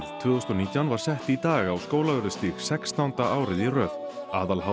tvö þúsund og nítján var sett í dag á Skólavörðustíg sextánda árið í röð